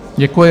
Děkuji.